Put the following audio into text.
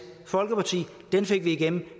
folkeparti den fik vi igennem og